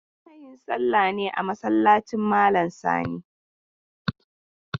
Muna yin salla ne a masallacin malam Sani.